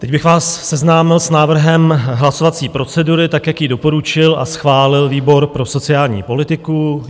Teď bych vás seznámil s návrhem hlasovací procedury tak, jak ji doporučil a schválil výbor pro sociální politiku.